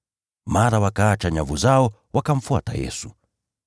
Mara wakaacha nyavu zao, wakamfuata.